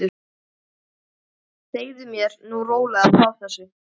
Segðu mér nú rólega frá þessu.